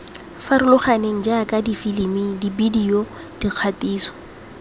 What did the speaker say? farologaneng jaaka difilimi dibedio dikgatiso